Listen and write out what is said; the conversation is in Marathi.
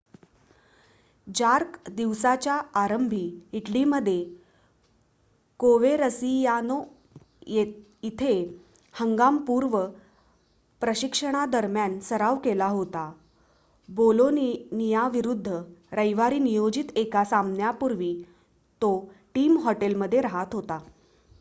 जार्क दिवसाच्या आरंभी इटलीमध्ये कोवेरसियानो इथे हंगाम-पूर्व प्रशिक्षणादरम्यान सराव करत होता बोलोनियाविरुद्ध रविवारी नियोजित एका सामन्यापूर्वी तो टीम हॉटेलमध्ये राहात होता